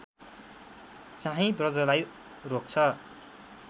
चाहिँ बज्रलाई रोक्छ